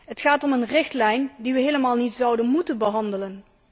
Het gaat om een richtlijn die we helemaal niet zouden moeten behandelen.